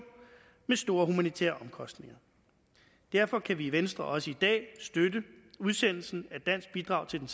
med store humanitære omkostninger derfor kan vi i venstre også i dag støtte udsendelsen af et dansk bidrag til den